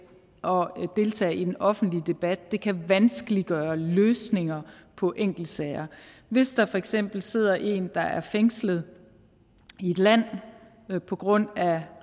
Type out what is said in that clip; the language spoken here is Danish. og deltage i den offentlige debat det kan vanskeliggøre løsninger på enkeltsager hvis der for eksempel sidder en der er fængslet i et land på grund af